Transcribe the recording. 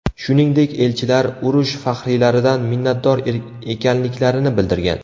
Shuningdek, elchilar, urush faxriylaridan minnatdor ekanliklarini bildirgan.